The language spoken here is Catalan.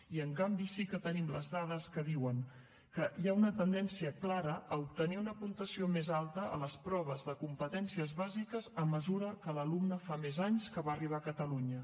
i en canvi sí que tenim les dades que diuen que hi ha una tendència clara a obtenir una puntuació més alta a les proves de competències bàsiques a mesura que l’alumne fa més anys que va arribar a catalunya